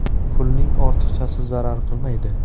Pulning ortiqchasi zarar qilmaydi.